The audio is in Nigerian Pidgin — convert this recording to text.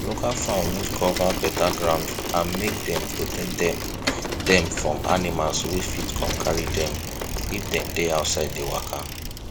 local fowl need cover better ground and make dem protect dem dem from animals wey fit come carry dem if dem dey outside dey waka